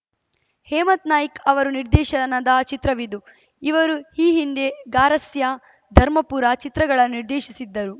ಹೇಮಂತ್‌ ನಾಯ್ಕ ಅವರು ನಿರ್ದೇಶನದ ಚಿತ್ರವಿದು ಇವರು ಈ ಹಿಂದೆ ಗಾರಸ್ಯಾ ಧರ್ಮಪುರ ಚಿತ್ರಗಳನ್ನು ನಿರ್ದೇಶಿಸಿದ್ದರು